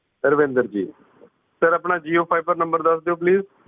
Ravinder ji sir ਆਪਣਾ jio fiber number ਦੱਸ ਦਿਓ ਪਲੀਜ਼ ।